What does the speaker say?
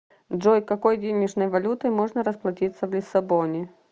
джой какой денежной валютой можно расплатиться в лиссабоне